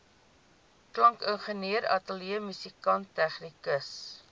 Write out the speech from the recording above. klankingenieur ateljeemusikant tegnikus